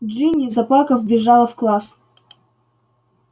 джинни заплакав вбежала в класс